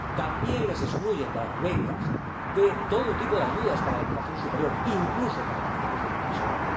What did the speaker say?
También les excluyen de las becas, de todo tipo de ayudas para la educación superior, incluso para la formación profesional.